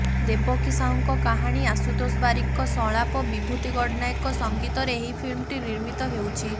ଦେବକୀ ସାହୁଙ୍କ କାହାଣୀ ଆଶୁତୋଷ ବାରିକଙ୍କ ସଂଳାପ ବିଭୂତି ଗଡ଼ନାୟକଙ୍କ ସଙ୍ଗୀତରେ ଏହି ଫିଲ୍ମଟି ନିର୍ମିତ ହେଉଛି